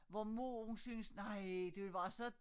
Hvor mor hun syntes nej det var så